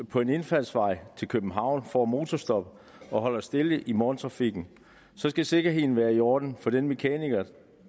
på en indfaldsvej til københavn der får motorstop og holder stille i morgentrafikken og så skal sikkerheden være i orden for den mekaniker